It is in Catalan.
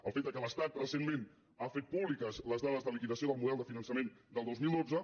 el fet que l’estat recentment ha fet públiques les dades de liquidació del model de finançament del dos mil dotze